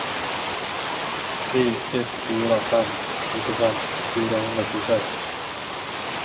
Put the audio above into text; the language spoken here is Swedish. tre ett fyra fem nittiofem fyrahundratjugosex